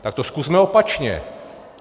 Tak to zkusme opačně.